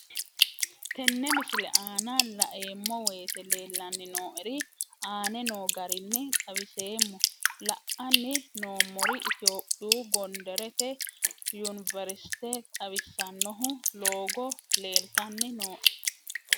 Tenne misile aana laeemmo woyte leelanni noo'ere aane noo garinni xawiseemmo. La'anni noomorri Ethiopiyu gonderete yuniverisite xawisanohu loogo leelitanni nooe